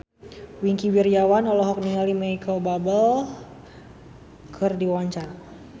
Wingky Wiryawan olohok ningali Micheal Bubble keur diwawancara